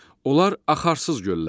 Onlar axarsız göllərdir.